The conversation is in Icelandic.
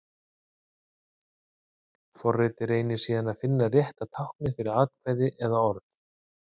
Forritið reynir síðan að finna rétta táknið fyrir atkvæðið eða orðið.